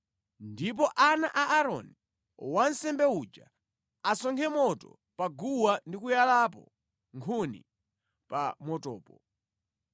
Ndipo ana a Aaroni, wansembe uja asonkhe moto pa guwa ndi kuyalapo nkhuni pa motopo.